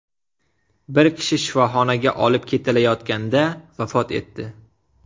Bir kishi shifoxonaga olib ketilayotganda vafot etdi.